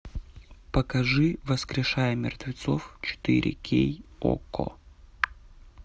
покажи воскрешая мертвецов четыре кей окко